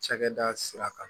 Cakɛda sira kan